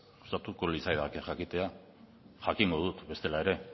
gustatuko litzaidake jakitea jakingo dut bestela ere